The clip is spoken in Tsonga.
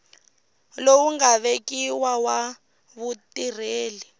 lowu nga vekiwa wa vutirheli